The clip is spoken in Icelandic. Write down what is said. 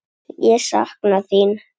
Ég sakna þín.